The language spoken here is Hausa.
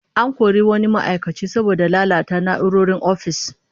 An kori wani ma'aikaci saboda lalata na'urorin ofis